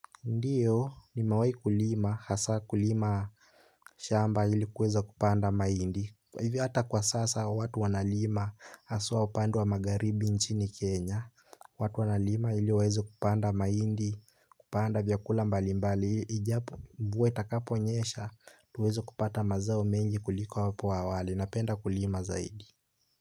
Ndiyo nimewahi kulima, hasa kulima shamba ili kuweza kupanda mahindi. Hivyo hata kwa sasa watu wanalima hasa upande wa magharibi nchini kenya. Watu wanalima ili waweze kupanda mahindi kupanda vyakula mbalimbali ijapo mvua itakapo nyesha, tuweze kupata mazao mengi kuliko hapo awali napenda kulima zaidi.